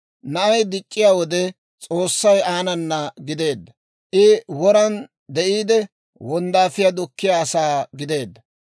Na'ay dic'c'iyaa wode, S'oossay aanana gideedda; I woran de'iide, wonddaafiyaa dukkiyaa asaa gideedda.